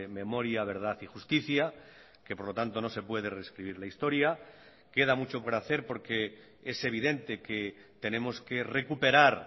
memoria verdad y justicia que por lo tanto no se puede rescribir la historia queda mucho por hacer porque es evidente que tenemos que recuperar